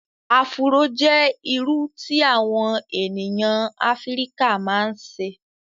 Afúró jẹ́ iru tí àwọn ènìyàn Afrika ma ń ṣe